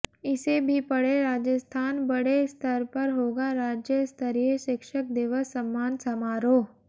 इसे भी पढ़ेः राजस्थानः बड़े स्तर पर होगा राज्य स्तरीय शिक्षक दिवस सम्मान समारोह